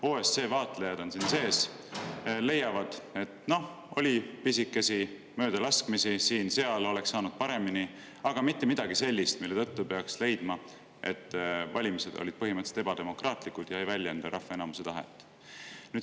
OSCE vaatlejad on siin ja leiavad, et no oli pisikesi möödalaskmisi, siin-seal oleks saanud paremini, aga ei olnud mitte midagi sellist, mille tõttu peaks leidma, et valimised olid põhimõtteliselt ebademokraatlikud ja ei väljenda rahva enamuse tahet.